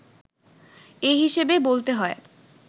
এ হিসেবে বলতে হয়,